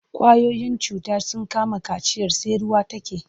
Ƙwayoyin cuta sun kama kaciyar sai ruwa take.